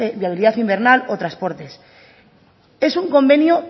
invernal o transportes es un convenio